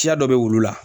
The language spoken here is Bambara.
Siya dɔ bɛ wulu la